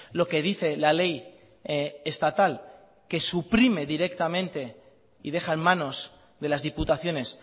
lo que dice la ley estatal que suprime directamente y deja en manos de las diputaciones